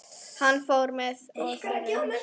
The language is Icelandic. Hann fór með Þuru og